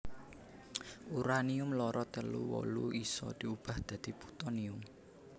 Uranium loro telu wolu isa diubah dadi Putonium